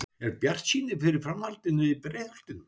Er bjartsýni fyrir framhaldinu í Breiðholtinu?